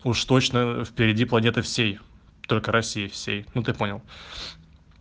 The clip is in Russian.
уж точно впереди планеты всей россии всей ну ты понял